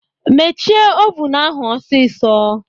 Mechie ovun ahụ osiso!